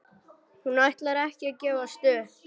Hún ætlar ekki að gefast upp!